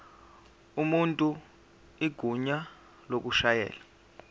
umuntu igunya lokushayela